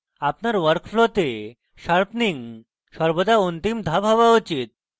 আপনার work ফ্লোতে sharpening সর্বদা অন্তিম ধাপ হওয়া উচিত